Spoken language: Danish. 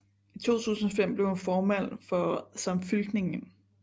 I 2005 blev hun formand for Samfylkingin